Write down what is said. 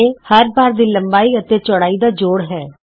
A ਹਰ bar ਦੀ ਲੰਬਾਈ ਅਤੇ ਚੌੜਾਈ ਦਾ ਜੋੜ ਹੇ